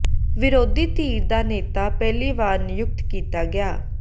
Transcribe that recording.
ਵਿਰੋਧੀ ਧਿਰ ਦਾ ਨੇਤਾ ਪਹਿਲੀ ਵਾਰ ਨਿਯੁਕਤ ਕੀਤਾ ਗਿਆ